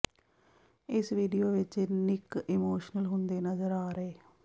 ਇਸ ਵੀਡੀਓ ਵਿੱਚ Nick emotional ਹੁੰਦੇ ਨਜ਼ਰ ਆ ਰਹੇ